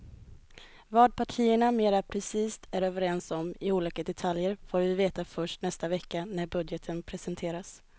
Vad partierna mera precist är överens om i olika detaljer får vi veta först nästa vecka när budgeten presenteras.